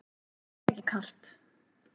Mér er ekki kalt.